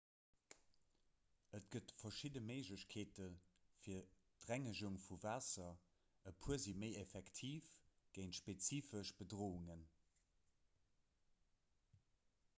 et gëtt verschidde méiglechkeete fir d'rengegung vu waasser e puer si méi effektiv géint spezifesch bedroungen